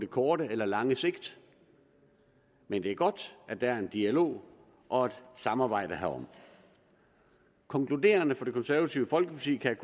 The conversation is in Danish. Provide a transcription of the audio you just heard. kort eller lang sigt men det er godt at der er en dialog og et samarbejde herom konkluderende for det konservative folkeparti kan